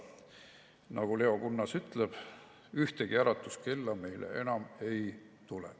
Nagu Leo Kunnas ütleb, ühtegi äratuskella meile enam ei tule.